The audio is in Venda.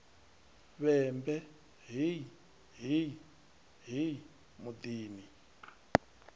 vhembe hei hei hei muḓini